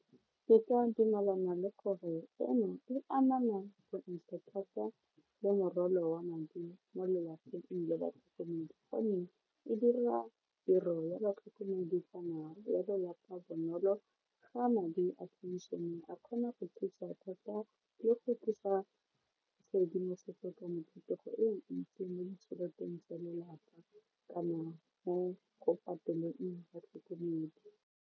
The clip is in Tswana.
Ke ka dumalana le gore eno e anama thata le morwalo wa madi mo lelapeng e dira tiro ya batlhokomedi kana ba lelapa bonolo ga madi a phenšene a kgona go thusa thata le go tlisa tshedimosetso ka mo thutego e ntsi mo ditšheleteng tsa lelapa ka madi mo go patelang batlhokomedi.